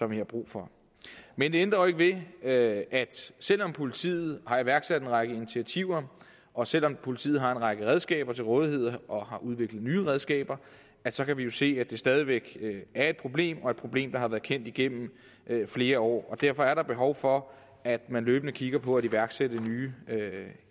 vi har brug for men det ændrer jo ikke ved at selv om politiet har iværksat en række initiativer og selv om politiet har en række redskaber til rådighed og har udviklet nye redskaber så kan vi jo se at det stadig væk er et problem og et problem der har været kendt igennem flere år og derfor er der behov for at man løbende kigger på at iværksætte nye